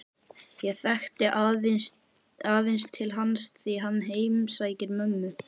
Ég þekki aðeins til hans því hann heimsækir mömmu